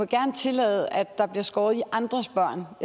gerne tillade at der bliver skåret i andres børn